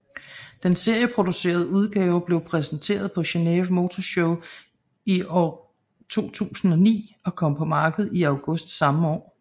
Den serieproducerede udgave blev præsenteret på Geneve Motor Show i år 2009 og kom på markedet i august samme år